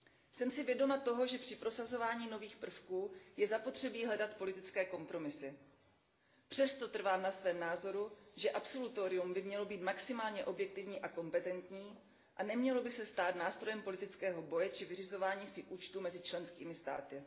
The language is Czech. Jsem si vědoma toho, že při prosazování nových prvků je zapotřebí hledat politické kompromisy. Přesto trvám na svém názoru, že absolutorium by mělo být maximálně objektivní a kompetentní a nemělo by se stát nástrojem politického boje či vyřizování si účtů mezi členskými státy.